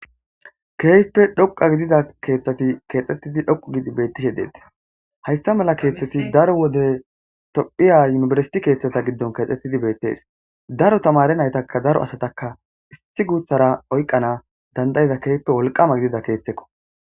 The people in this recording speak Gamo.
Kehippe dhoqa gidida keeththati keexxettidi dhoqu gidi bettishe detes hayssa mala keeththati daro wode tophiya yunibersiti keeththata giddon keexxettidi beettees daro tamare naytaka zaro asataka isti guuthara oykqana dandayiza keype wolqama gidida keeththekko